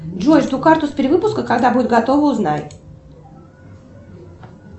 джой жду карту с перевыпуска когда будет готова узнай